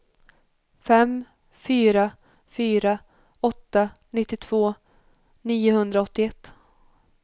fem fyra fyra åtta nittiotvå niohundraåttioett